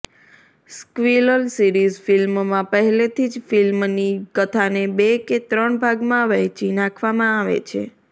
sequel series ફ્લ્મિમાં પહેલેથી જ ફ્લ્મિની કથાને બે કે ત્રણ ભાગમાં વહેંચી નાખવામાં આવે છે